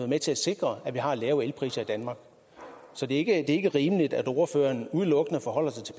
med til at sikre at vi har lave elpriser i danmark så det er ikke rimeligt at ordføreren udelukkende forholder sig til